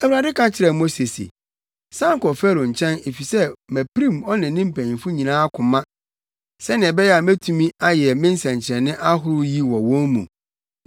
Awurade ka kyerɛɛ Mose se, “San kɔ Farao nkyɛn efisɛ mapirim ɔne ne mpanyimfo nyinaa koma sɛnea ɛbɛyɛ a metumi ayɛ me nsɛnkyerɛnne ahorow yi wɔ wɔn mu